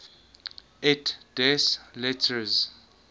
et des lettres